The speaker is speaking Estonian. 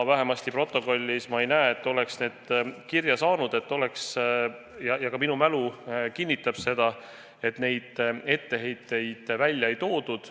Protokolli ei ole kirja saanud, et need esinevad, ja ka minu mälu kinnitab seda, et etteheiteid välja ei toodud.